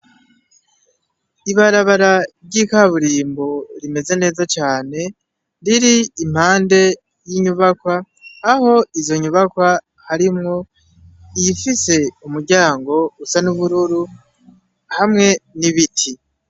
Ibarabara ry'ikaburimbo rimeze neza cane riri impande y'inyubakwa aho izo nyubakwa harimwo iyifise umuryango usa n'ubururu hamwe n'ibiti.